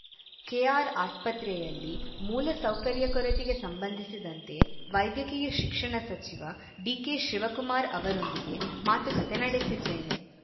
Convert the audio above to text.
ಕೆಆರ್‌ಆಸ್ಪತ್ರೆಯಲ್ಲಿ ಮೂಲ ಸೌಕರ್ಯ ಕೊರತೆಗೆ ಸಂಬಂಧಿಸಿದಂತೆ ವೈದ್ಯಕೀಯ ಶಿಕ್ಷಣ ಸಚಿವ ಡಿಕೆಶಿವಕುಮಾರ್‌ ಅವರೊಂದಿಗೆ ಮಾತುಕತೆ ನಡೆಸಿದ್ದೇನೆ